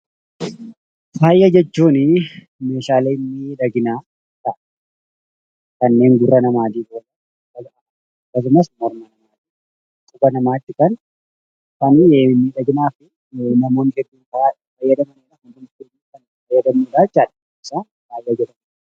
Faaya jechuun meeshaalee miidhaginaa ta'a. Kanneen dhallin namaa gurratti, mormatti, qubatti godhatan faaya jedhamanii waamamu.